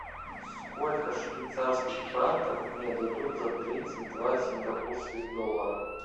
сколько швейцарских франков мне дадут за тридцать два сингапурских доллара